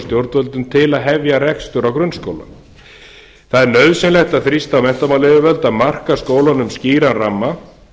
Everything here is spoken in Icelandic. stjórnvöldum til að hefja rekstur á grunnskóla það er nauðsynlegt að þrýsta á menntamálayfirvöld að marka skólunum skýran ramma